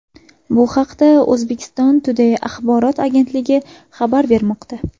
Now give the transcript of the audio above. Bu haqda Uzbekistan Today axborot agentligi xabar bermoqda .